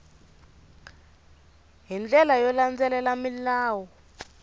hi ndlela yo landzelela milawu